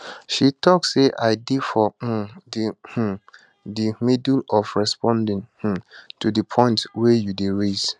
she tok say i dey for um di um di middle of responding um to di point wey you dey raise